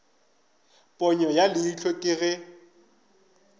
ponyo ya leihlo ke ge